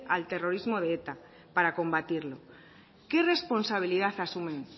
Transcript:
al terrorismo de eta para combatirlo qué responsabilidad asumen